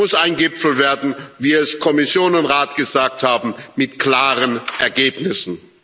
Es muss ein Gipfel werden, wie es Kommission und Rat gesagt haben mit klaren Ergebnissen.